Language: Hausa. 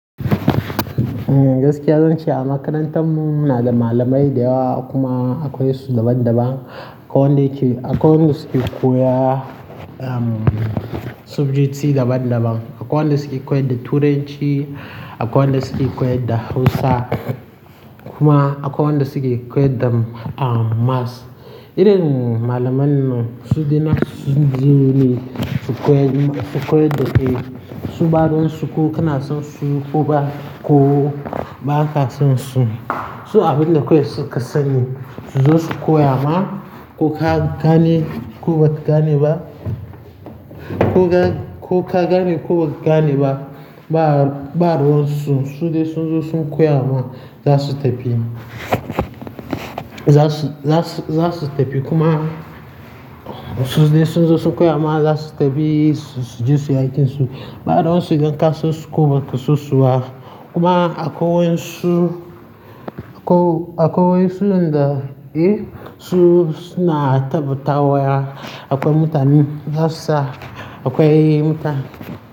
Gaskiya zan ce a makarantar mu muna da malamai da yawa kuma akwai su daban-daban. Akwai wanda yake, akwai wanda suke koya subjects daban-daban. Akwai wanda suke koyar da Turanci, akwai wanda suke koyar da Hausa kuma akwai wanda suke koyar da Maths. Irin malamanan su suna, su ji ne su koyar, su koyar da, eh, su ɓaruwonsu ko kana son su ko ba ko ba ka son su, su abin da kawai su ka sani su zo su koya ma ko ka gane ko ba ka gane ba, ko ka gane ko ba ka gane ba, ba ɓaruwonsu su dai sun zo sun koya ma za su tafi. Za su, za su, za su tafi kuma su dai sun zo su koya ma za su tafi su je su yi aikinsu. Ɓarowonsu idan ka son su ko ba ka so su ba kuma akwai su, akwai, akwai suyan da su na tabbatawa ya akwai mutanen Hausa, akwai muta.